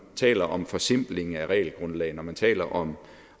taler om forsimpling af regelgrundlaget når man taler om